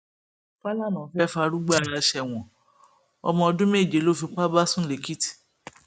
fàlànà fẹẹ fárúgbó ara sẹwọn ọmọọdún méje ló fipá bá sùn lẹkìtì